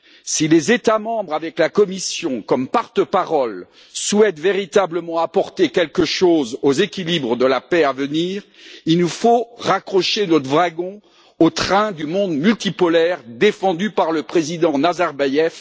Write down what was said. Si les États membres, avec la Commission comme porte parole, souhaitent véritablement apporter quelque chose aux équilibres de la paix à venir, il nous faut raccrocher notre wagon au train du monde multipolaire défendu par le président Nazarbaïev.